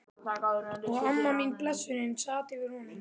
Og amma mín, blessunin, sat yfir honum.